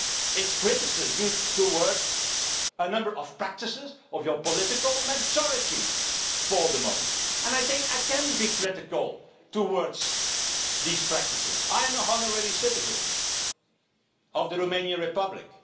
It is criticism of a number of practices of your political majority for the moment, and I think I can be critical of these practices as I am an honorary citizen of the Romanian Republic.